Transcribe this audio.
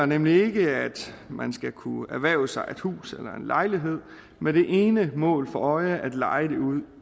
vi mener ikke at man skal kunne erhverve sig et hus eller en lejlighed med det ene mål for øje at leje det ud